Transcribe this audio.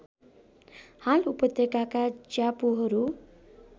हाल उपत्यकाका ज्यापुहरू